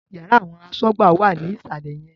Yàrá àwọn asọ́gbà wà ní ìsàlẹ̀ yẹn